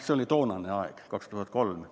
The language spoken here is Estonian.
See oli toonane aeg, 2003.